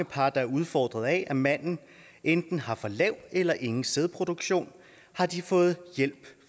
par der er udfordret af at manden enten har for lav eller ingen sædproduktion har de fået hjælp